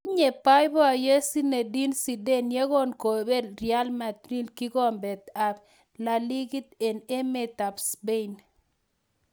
Tinye boiboiyet Zinedine Zidane yekon kobel Real Madrid kikombet ab laliga en emet ab Spain